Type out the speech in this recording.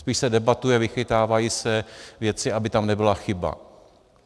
Spíš se debatuje, vychytávají se věci, aby tam nebyla chyba.